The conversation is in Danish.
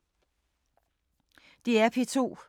DR P2